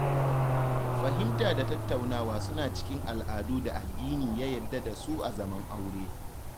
Fahimta da tattaunawa suna cikin al'adun da addini ya yadda da su a zaman aure.